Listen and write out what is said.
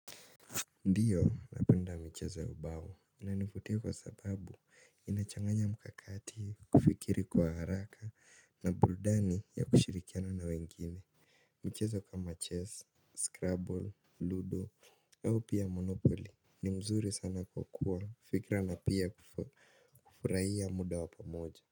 Ndio napenda kucheza ubao inanivutia kwa sababu inachanganya mkakati kufikiri kwa haraka na burudani ya kushiriki na wengine. Mchezo kama chess, scrabble, ludo au pia monopoli. Ni mzuri sana kwa kuwa fikra na pia kufurahia muda wa pamoja.